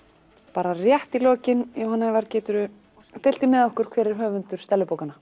bara rétt í lokin Jóhann Ævar geturðu deilt því með okkur hver er höfundur